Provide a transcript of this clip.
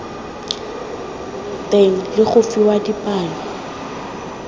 teng le go fiwa dipalo